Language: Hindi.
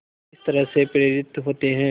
किस तरह से प्रेरित होते हैं